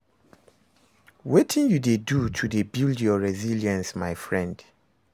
Wetin you dey do to build your resilience my friend?